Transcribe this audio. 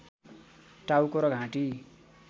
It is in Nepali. टाउको र घाँटी